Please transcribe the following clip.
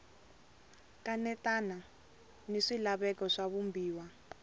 kanetana ni swilaveko swa vumbiwa